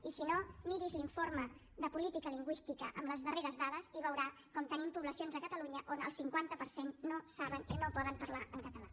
i si no miri’s l’informe de política lingüística amb les darreres dades i veurà com tenim poblacions a catalunya on el cinquanta per cent no saben i no poden parlar en català